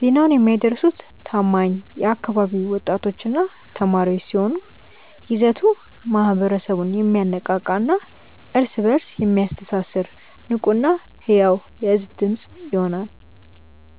ዜናውን የሚያደርሱት ታማኝ የአካባቢው ወጣቶችና ተማሪዎች ሲሆኑ፣ ይዘቱ ማኅበረሰቡን የሚያነቃቃና እርስ በእርስ የሚያስተሳስር ንቁና ሕያው የሕዝብ ድምፅ ይሆናል።